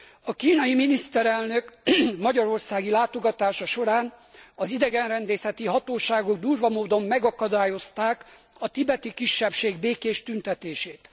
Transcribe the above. A kínai miniszterelnök magyarországi látogatása során az idegenrendészeti hatóságok durva módon megakadályozták a tibeti kisebbség békés tüntetését.